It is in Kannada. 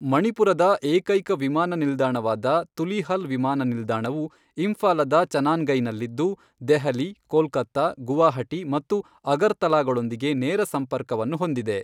ಮಣಿಪುರದ ಏಕೈಕ ವಿಮಾನ ನಿಲ್ದಾಣವಾದ ತುಲೀಹಲ್ ವಿಮಾನ ನಿಲ್ದಾಣವು ಇಂಫಾಲದ ಚನಾನ್ಗೈನಲ್ಲಿದ್ದು, ದೆಹಲಿ, ಕೋಲ್ಕತ್ತಾ, ಗುವಾಹಟಿ ಮತ್ತು ಅಗರ್ತಲಾಗಳೊಂದಿಗೆ ನೇರ ಸಂಪರ್ಕವನ್ನು ಹೊಂದಿದೆ.